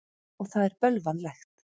Og það er bölvanlegt.